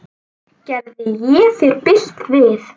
Gerði ég þér bylt við?